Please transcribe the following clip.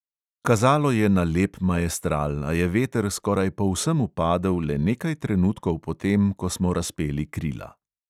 Kazalo je na lep maestral, a je veter skoraj povsem upadel le nekaj trenutkov po tem, ko smo razpeli krila.